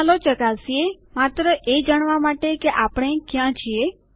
ચાલો ચકાસીએ માત્ર એ જાણવા માટે કે આપણે ક્યાં છીએ